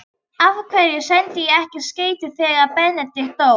Af hverju sendi ég ekki skeyti þegar Benedikt dó?